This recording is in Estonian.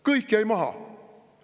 Kõik jäi maha!